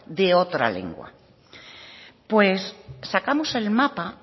de otra lengua pues sacamos el mapa